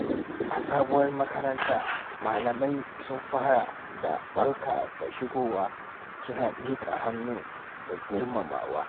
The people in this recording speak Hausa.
A sabuwar makaranta, malamai sun fara da "Barka da shigowa" suna miƙa hannu da girmamawa.